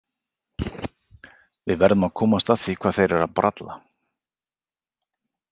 Við verðum að komast að því hvað þeir eru að bralla